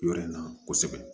Yɔrɔ in na kosɛbɛ